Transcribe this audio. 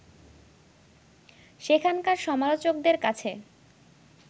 সেখানকার সমালোচকদের কাছে